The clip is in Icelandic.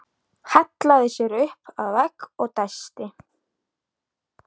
Hallaði sér upp að vegg og dæsti.